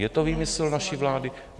Je to výmysl naší vlády?